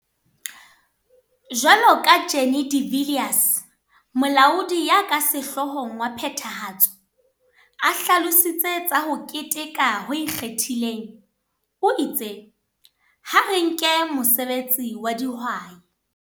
Jwalo ka ha Jannie de Villiers, Molaodi ya ka Sehloohong wa Phethahatso, a hlalositse tsa ho keteka ho ikgethileng, o itse. Ha re nke mosebetsi wa dihwai.